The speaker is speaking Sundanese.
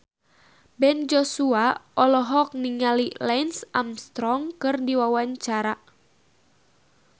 Ben Joshua olohok ningali Lance Armstrong keur diwawancara